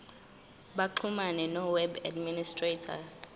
baxhumane noweb administrator